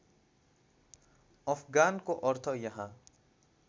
अफगानको अर्थ यहाँ